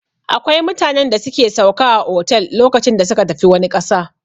Akwai mutanen da suke sauka a otel lokacin da suka tafi wani ƙasa.